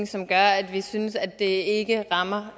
som gør at vi synes at det ikke rammer